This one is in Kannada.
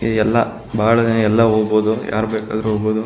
ಈ ಎಲ್ಲ ಬಹಳ ದಿನ ಎಲ್ಲ ಹೋಗ್ಬಹುದು ಯಾರ್ ಬೇಕಾದ್ರು ಹೋಗ್ಬಹುದು.